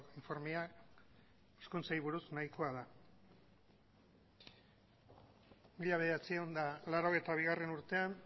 informeak hizkuntzari buruz nahikoa da mila bederatziehun eta laurogeita bigarrena urtean